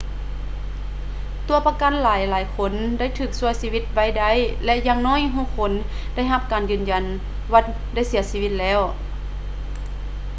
ຕົວປະກັນຫລາຍໆຄົນໄດ້ຖືກຊ່ວຍຊີວິດໄວ້ໄດ້ ແລະ ຢ່າງໜ້ອຍຫົກຄົນໄດ້ຮັບການຢືນຢັນວ່າໄດ້ເສຍຊີວິດແລ້ວ